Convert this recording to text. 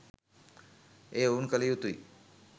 එය ඔවුන් කල යුතුයි